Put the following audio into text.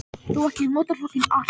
Þó ekki allt.